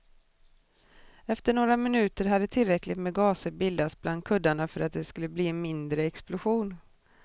Efter några minuter hade tillräckligt med gaser bildats bland kuddarna för att det skulle bli en mindre explosion.